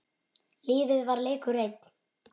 Lífið var leikur einn.